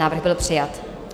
Návrh byl přijat.